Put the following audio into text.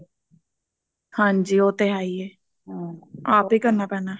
ਹਾਂਜੀ ਉਹ ਤੇ ਹੈ ਹੀ ਐ ਆਪ ਹੀ ਕਰਨਾ ਪੈਣਾ